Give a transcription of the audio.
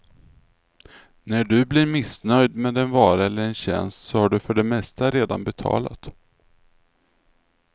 När du blir missnöjd med en vara eller en tjänst, så har du för det mesta redan betalat.